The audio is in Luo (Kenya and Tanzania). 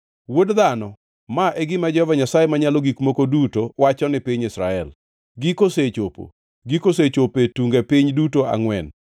“Wuod dhano, ma e gima Jehova Nyasaye Manyalo Gik Moko Duto wacho ni piny Israel: “ ‘Giko osechopo! Giko osechopo e tunge piny duto angʼwen!